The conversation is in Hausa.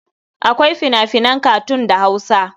Akwai fina-finan katun da Hausa.